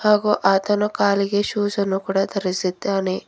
ಹಾಗು ಆತನು ಕಾಲಿಗೆ ಶೂಸ್ ಅನ್ನು ಕೂಡ ದರಸಿದ್ದಾನೆ.